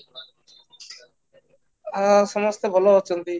ଆ ସମସ୍ତେ ଭଲ ଅଛନ୍ତି